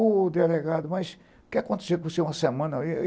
O delegado, mas o que aconteceu com você uma semana?